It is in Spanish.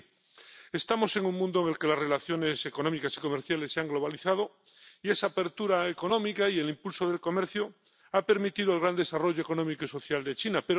Pero, en fin, estamos en un mundo en el que las relaciones económicas y comerciales se han globalizado, y esa apertura económica y el impulso del comercio han permitido el gran desarrollo económico y social de China